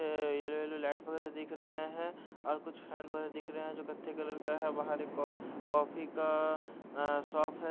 इनुनु light फॉर दिख रहे है और कुछ कॉफी का अ शॉप है ।